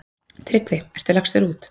TRYGGVI: Ertu lagstur út?